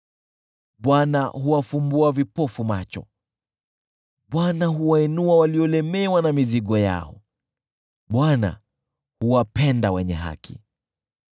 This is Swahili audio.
Bwana huwafumbua vipofu macho, Bwana huwainua waliolemewa na mizigo yao, Bwana huwapenda wenye haki.